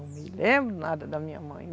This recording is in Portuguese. Eu não me lembro nada da minha mãe.